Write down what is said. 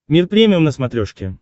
мир премиум на смотрешке